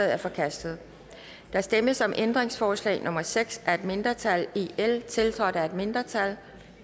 er forkastet der stemmes om ændringsforslag nummer seks af et mindretal tiltrådt af et mindretal